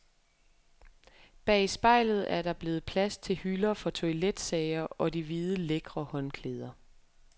Bag spejlet er der blevet plads til hylder for toiletsager og de hvide, lækre håndklæder.